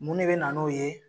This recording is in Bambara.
Mun de bɛ na n'o ye.